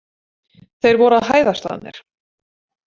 Þeir voru að hæðast að mér!